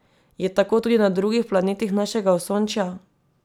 Je tako tudi na drugih planetih našega Osončja?